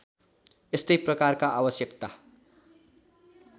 यस्तै प्रकारका आवश्यकता